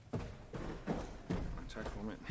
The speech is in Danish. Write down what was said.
jeg ved